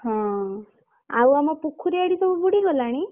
ହଁ ଆଉ ଆମ ପୋଖରୀ ଆଡେ ସବୁ ବୁଡ଼ି ଗଲାଣି?